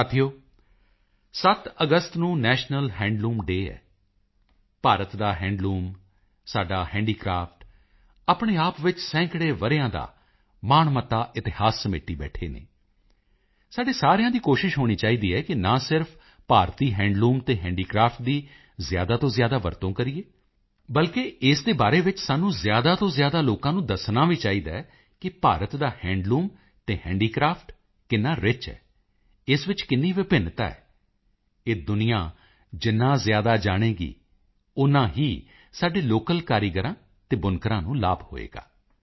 ਸਾਥੀਓ 7 ਅਗਸਤ ਨੂੰ ਨੈਸ਼ਨਲ ਹੈਂਡਲੂਮ ਡੇਅ ਹੈ ਭਾਰਤ ਦਾ ਹੈਂਡਲੂਮ ਸਾਡਾ ਹੈਂਡੀਕ੍ਰਾਫਟ ਆਪਣੇ ਆਪ ਵਿੱਚ ਸੈਂਕੜੇ ਵਰ੍ਹਿਆਂ ਦਾ ਮਾਣਮੱਤਾ ਇਤਿਹਾਸ ਸਮੇਟੀ ਬੈਠੇ ਹਨ ਸਾਡੇ ਸਾਰਿਆਂ ਦੀ ਕੋਸ਼ਿਸ਼ ਹੋਣੀ ਚਾਹੀਦੀ ਹੈ ਕਿ ਨਾ ਸਿਰਫ ਭਾਰਤੀ ਹੈਂਡਲੂਮ ਅਤੇ ਹੈਂਡੀਕ੍ਰਾਫਟ ਦੀ ਜ਼ਿਆਦਾ ਤੋਂ ਜ਼ਿਆਦਾ ਵਰਤੋਂ ਕਰੀਏ ਬਲਕਿ ਇਸ ਦੇ ਬਾਰੇ ਵਿੱਚ ਸਾਨੂੰ ਜ਼ਿਆਦਾ ਤੋਂ ਜ਼ਿਆਦਾ ਲੋਕਾਂ ਨੂੰ ਦੱਸਣਾ ਵੀ ਚਾਹੀਦਾ ਹੈ ਭਾਰਤ ਦਾ ਹੈਂਡੂਲਮ ਅਤੇ ਹੈਂਡੀਕ੍ਰਾਫਟ ਕਿੰਨਾ ਰਿਚ ਹੈ ਇਸ ਵਿੱਚ ਕਿੰਨੀ ਵਿਭਿੰਨਤਾ ਹੈ ਇਹ ਦੁਨੀਆ ਜਿੰਨਾ ਜ਼ਿਆਦਾ ਜਾਣੇਗੀ ਓਨਾ ਹੀ ਸਾਡੇ ਲੋਕਲ ਕਾਰੀਗਰਾਂ ਅਤੇ ਬੁਨਕਰਾਂ ਨੂੰ ਲਾਭ ਹੋਵੇਗਾ